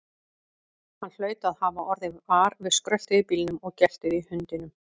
Hann hlaut að hafa orðið var við skröltið í bílnum og geltið í hundinum.